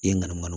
Yen nka mana